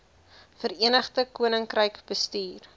verenigde koninkryk bestuur